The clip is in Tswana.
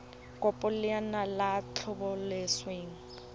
kopo ya lenaane la tlhabololosewa